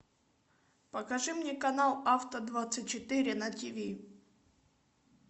покажи мне канал авто двадцать четыре на тв